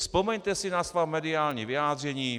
Vzpomeňte si na svá mediální vyjádření.